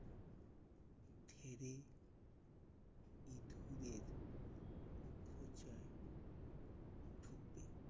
ফেলে ঈদপুরের প্রচার ঢুকবে।